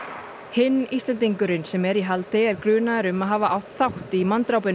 hinn Íslendingurinn sem er í haldi er grunaður um að hafa átt þátt í